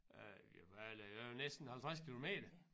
Øh ja hvad er der der er jo næsten 50 kilometer